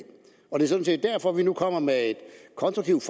det er sådan set derfor vi nu kommer med et konstruktivt